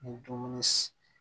Ni dumuni